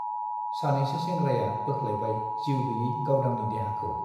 सानैसो सेंग्राया बोख्लायबाय जिउ गैयै गावदांनि देहाखौ ।